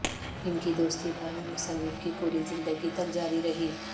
ان کی دوستی بھر میں مصنف کی پوری زندگی تک جاری رہی